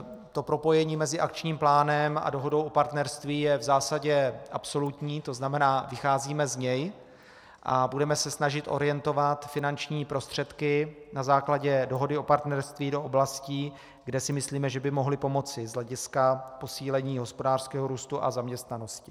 To propojení mezi akčním plánem a dohodou o partnerství je v zásadě absolutní, to znamená, vycházíme z něj a budeme se snažit orientovat finanční prostředky na základě dohody o partnerství do oblastí, kde si myslíme, že by mohly pomoci z hlediska posílení hospodářského růstu a zaměstnanosti.